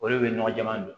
Olu bɛ nɔgɔ jaman